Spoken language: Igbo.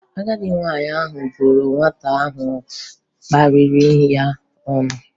Agadị nwaanyị ahụ bụrụ nwata ahụ kparịrị ya ọnụ